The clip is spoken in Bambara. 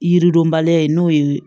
Yiridenbaliya ye n'o ye